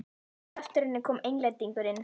Rétt á eftir henni kom Englendingurinn.